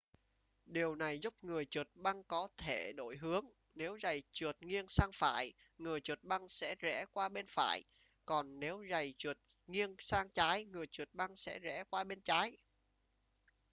điều này giúp người trượt băng có thể đổi hướng nếu giày trượt nghiêng sang phải người trượt băng sẽ rẽ qua bên phải còn nếu giày trượt nghiêng sang trái người trượt băng sẽ rẽ qua bên trái